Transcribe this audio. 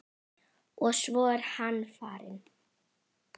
Og svo er hann farinn.